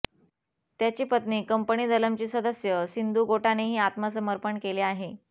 त्याची पत्नी कंपनी दलमची सदस्य सिंधू गोटानेही आत्मसमर्पण केले आहे